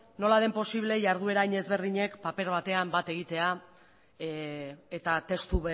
nola den posible iharduera hain ezberdinek paper batean bat egitea eta testu